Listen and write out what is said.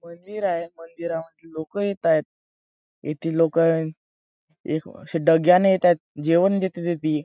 मंदिर आहेव मंदिरामध्ये लोक येताएत येथे लोक एक डग्याने येत आहेत. जेवण देतादेती --